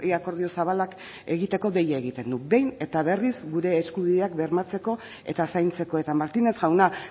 akordio zabalak egiteko deia egiten du behin eta berriz gure eskubideak bermatzeko eta zaintzeko eta martínez jauna